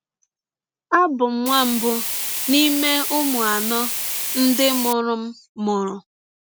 Abụ m nwa mbụ n’ime ụmụ anọ ndị mụrụ m mụrụ.